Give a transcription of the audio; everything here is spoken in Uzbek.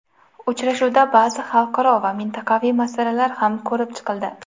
Uchrashuvda ba’zi xalqaro va mintaqaviy masalalar ham ko‘rib chiqildi.